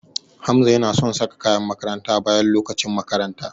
Hamza yana son saka kayan makaranta bayan lokacin makaranta.